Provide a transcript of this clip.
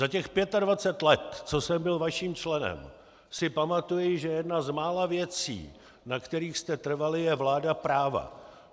Za těch 25 let, co jsem byl vaším členem, si pamatuji, že jedna z mála věcí, na kterých jste trvali, je vláda práva.